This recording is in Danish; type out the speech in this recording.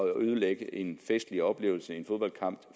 ødelægge en festlig oplevelse som en fodboldkamp